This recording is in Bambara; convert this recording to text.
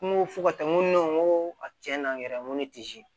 N ko fo ka taa n ko n ko a cɛn na n yɛrɛ ŋo ne ti se